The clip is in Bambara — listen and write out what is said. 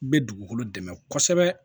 N bɛ dugukolo dɛmɛ kosɛbɛ